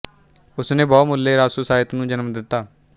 ਉਸਨੇ ਬਹੁ ਮੁੱਲੇ ਰਾਸੋ ਸਾਹਿਤ ਨੂੰ ਜਨਮ ਦਿੱਤਾ